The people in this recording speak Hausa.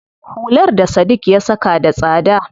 Hular da Sadiq ya saka da tsada.